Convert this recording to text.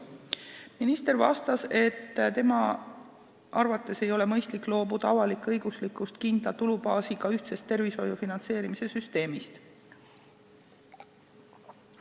Minister vastas, et tema arvates ei ole mõistlik loobuda avalik-õiguslikust kindla tulubaasiga ühtsest tervishoiu finantseerimise süsteemist.